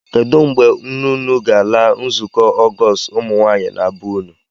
Kedụ mgbe nne unu ga-ala nzukọ Ọgọọst ụmụnwaanyị na be unu?